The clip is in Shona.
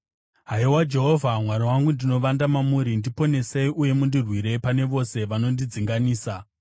Haiwa Jehovha, Mwari wangu, ndinovanda mamuri; ndiponesei uye mundirwire pane vose vanondidzinganisa,